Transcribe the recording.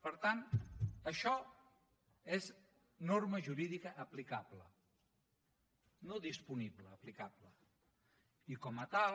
per tant això és norma jurídica aplicable no disponible aplicable i com a tal